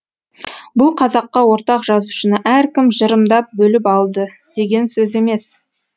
бұл қазаққа ортақ жазушыны әркім жырымдап бөліп алды деген сөз емес